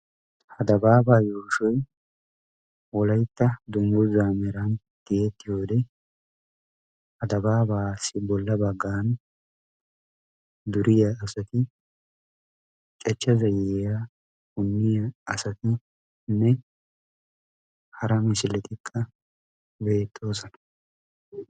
Ha dabaabaa yuushshoy wolaytta mran tiyettiyoode ha dabaabassi bolla baggan duriyaa asati cachcha zayyiyaa punniyaa asatinne hara misiletikka beettoosona.